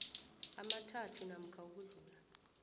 amathathu namkha ukudlula